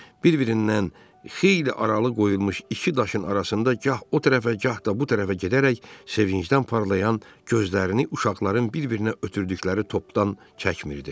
Bir-birindən xeyli aralı qoyulmuş iki daşın arasında gah o tərəfə, gah da bu tərəfə gedərək, sevincdən parlayan gözlərini uşaqların bir-birinə ötürdükləri topdan çəkmirdi.